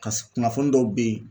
kunnafoni dɔw bɛ yen.